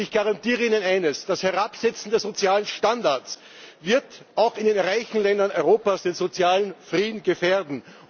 Ich garantiere Ihnen eines Das Herabsetzen der sozialen Standards wird auch in den reichen Ländern Europas den sozialen Frieden gefährden.